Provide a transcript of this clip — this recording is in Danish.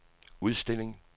udstilling